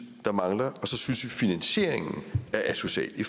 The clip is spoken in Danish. mangler og så synes vi at finansieringen er asocial i